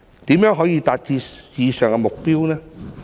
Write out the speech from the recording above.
如何可以達致以上的目標呢？